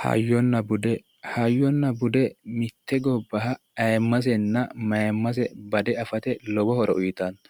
Hayyona bude hayyona bude mitte gobbaha ayimasenna mayimase bade afate lowo horo uyitanno